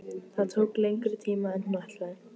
Það tók lengri tíma en hún ætlaði.